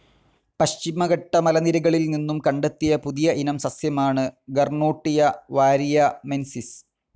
പശ്ചിമഘട്ട മലനിരകളിൽ നിന്നും കണ്ടെത്തിയ പുതിയ ഇനം സസ്യമാണ് ഗർനോട്ടിയ വാരിയമെൻസിസ്.